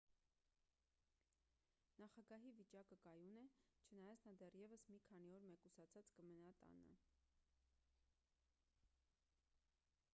նախագահի վիճակը կայուն է չնայած նա դեռևս մի քանի օր մեկուսացած կմնա տանը